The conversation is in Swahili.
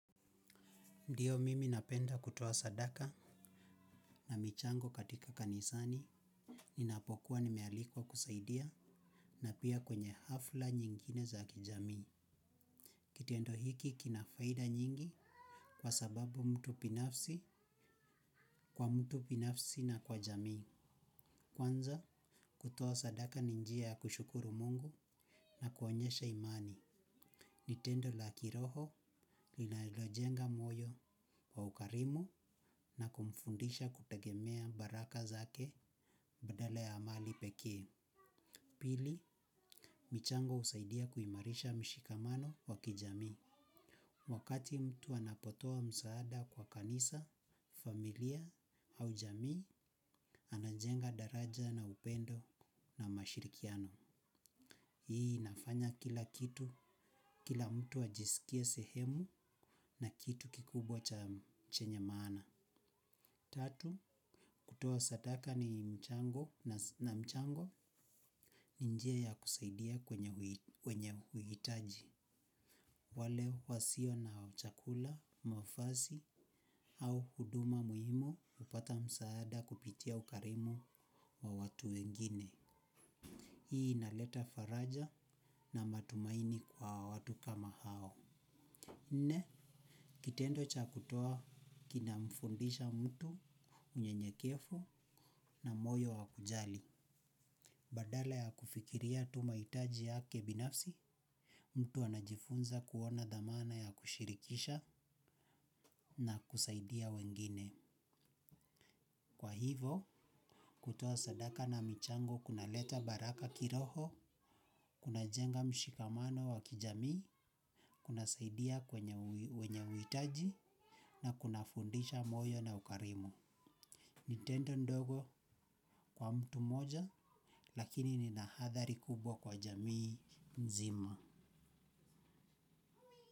Ndiyo mimi napenda kutoa sadaka na michango katika kanisani. Ninapokuwa ni mealikwa kusaidia na pia kwenye hafla nyingine za kijamii. Kitendo hiki kina faida nyingi kwa sababu mtu binafsi kwa mtu binafsi na kwa jamii. Kwanza kutoa sadaka ninjia ya kushukuru mungu na kuonyesha imani. Ni tendo la kiroho linalo jenga moyo wa ukarimu na mfundisha kutegemea baraka zake badala ya amani pekee. Pili, michango husaidia kuimarisha mshikamano wa kijami. Wakati mtu anapotoa msaada kwa kanisa familia au jamii anajenga daraja la upendo na ushirikiano. Hii nafanya kila kitu, kila mtu ajisikie sehemu na kitu kikubwa cha chenye maana. Tatu, kutoa sadaka ni mchango na mchango ni njia ya kusaidia kwenye uhitaji. Wale wasio na chakula, mavasi au huduma muhimu hupata msaada kupitia ukarimu wa watu wengine. Hii inaleta faraja na matumaini kwa watu kama hao nne, kitendo cha kutoa kinamfundisha mtu unyenyekevu na moyo wa kujali. Badala ya kufikiria mahitaji yake binafsi mtu anajifunza kuona dhamana ya kushirikisha na kusaidia wengine. Kwa hivyo, kutoa sadaka na michango kuna leta baraka kiroho, kuna jenga mshikamano wa kijamii, kuna saidia wenye uhitaji na kuna fundisha moyo na ukarimu. Ni tendo ndogo kwa mtu mmoja lakini lina athari kubwa kwa jamii nzima.